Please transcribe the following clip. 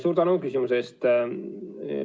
Suur tänu küsimuse eest!